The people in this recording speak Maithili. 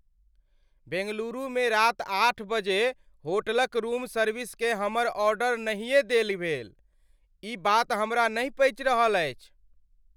बेंगलुरुमे राति आठ बजे होटलक रूम सर्विसकेँ हमर ऑर्डर नहिए देल भेल। ई बात हमरा नहि पचि रहल अछि।